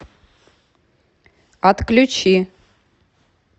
отключи